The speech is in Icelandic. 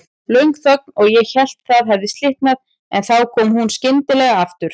Löng þögn og ég hélt það hefði slitnað, en þá kom hún skyndilega aftur.